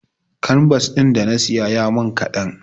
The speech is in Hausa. Kanbas ɗin da na saya ya min kaɗan.